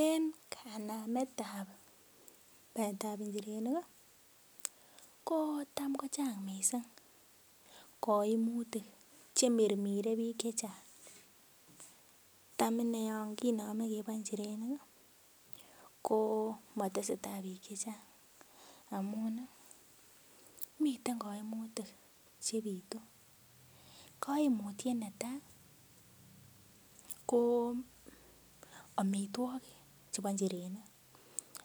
En kanamet ab baetab njirenik ih ko tam ko chang missing koimutik chemirmire biik chechang tam inee yon kinome keboe njirenik ih komotesetaa biik chechang amun miten koimutik chebitu, koimutiet netaa ko amitwogik chebo njirenik,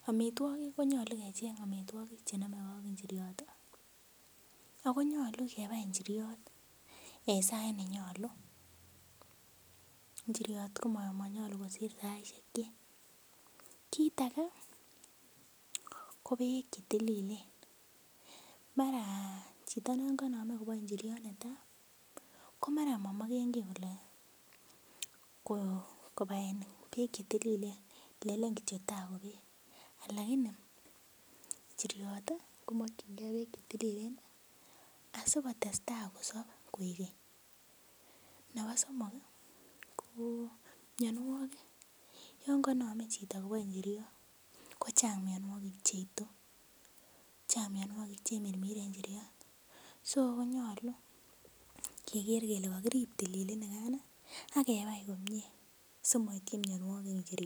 amitwogik konyolu kecheng amitwogik chenomegee ak njiriot ih ako nyolu kebai njiryot en sait nenyolu, njiryot komonyolu kosir saisiek kyik. Kit age ko beek chetililen mara chito non konome koboe njiryot netaa ko mara momoken kiy kole ko kobaen beek chetililen lenen kityok tai ko beek lakini njiryot ih komokyingee beek chetililen asikotestaa kosop koik keny. Nebo somok ih ko mionwogik yon konome chito koboe njiryot ko chang mionwogik cheitu, chang mionwogik chemirmire njiryot so konyolu keker kele kokirip tililini kan ih akebai komie simoityi mionwogik njirenik